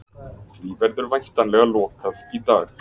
Því verður væntanlega lokað í dag